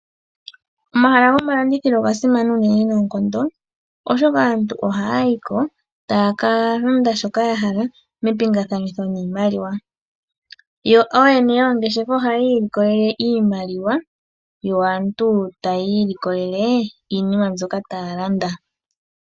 Omahala gomalandithilo oga simana unene noonkondo oshoka aantu oha ya yiko taya kalanda shoka ya hala mepingathanitho niimaliwa yo ooyene moongeshefa oha ya ilikolele iimaliwa yo aantu ta yiilikolele iinima mbyoka taya landa.